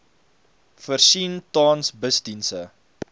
voorsien tans busdienste